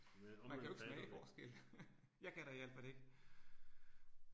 Man kan jo ikke smage forskel. Jeg kan da i al fald ikke